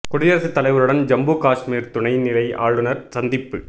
குடியரசுத் தலைவருடன் ஜம்மு காஷ்மீர் துணை நிலை ஆளுநர் சந்திப்பு